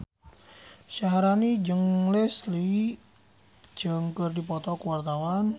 Syaharani jeung Leslie Cheung keur dipoto ku wartawan